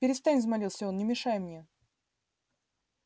перестань взмолился он не мешай мне